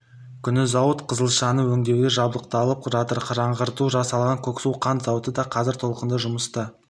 күні зауыт қызылшаны өңдеуге қабылдап жатыр жаңғырту жасалған көксу қант зауыты да қазір толыққанды жұмыс